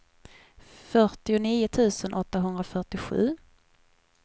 fyrtionio tusen åttahundrafyrtiosju